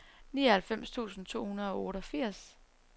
nioghalvfems tusind to hundrede og otteogfirs